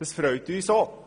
Das freut uns auch.